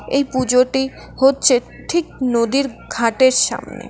এই পুজোটি হচ্ছে ঠিক নদীর ঘাটের সামনে।